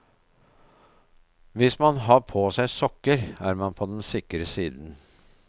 Hvis man har på seg sokker er man på den sikre siden.